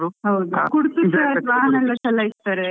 ಹೌದು, ವಾಹನ ಎಲ್ಲ ಚಲಯಿಸ್ತಾರೆ.